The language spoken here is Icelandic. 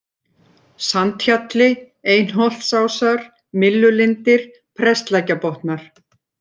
Sandhjalli, Einholtsásar, Myllulindir, Prestlækjarbotnar